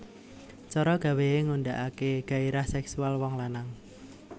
Cara gawé Ngundakaké gairah séksual wong lanang